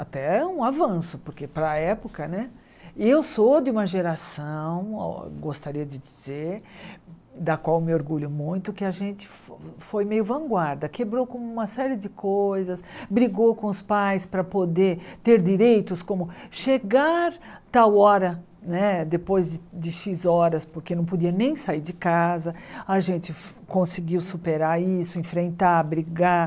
até um avanço porque para a época né eu sou de uma geração gostaria de dizer da qual me orgulho muito que a gente foi meio vanguarda quebrou com uma série de coisas brigou com os pais para poder ter direitos como chegar tal hora né depois de de xis horas porque não podia nem sair de casa a gente conseguiu superar isso enfrentar brigar